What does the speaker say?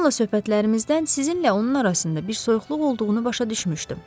Jonla söhbətlərimizdən sizinlə onun arasında bir soyuqluq olduğunu başa düşmüşdüm.